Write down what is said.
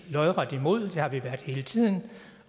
lodret imod det har vi været hele tiden